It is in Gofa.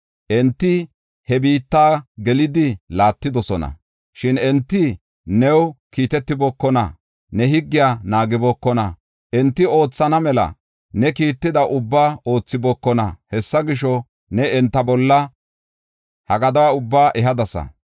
Enti he biitta gelidi laattidosona. Shin enti new kiitetibookona; ne higgiya naagibookona; enti oothana mela ne kiitida ubbaa oothibookona. Hessa gisho, ne enta bolla ha gaduwa ubbaa ehadasa.